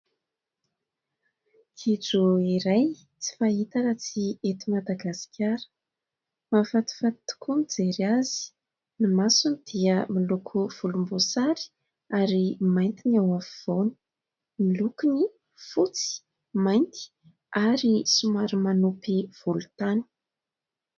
Gidro iray tsy fahita raha tsy eto Madagasikara. Mahafatifaty tokoa mijery azy. Ny masony dia miloko volomboasary ary mainty ny ao afovoany. Ny lokony fotsy, mainty ary somary manopy volontany.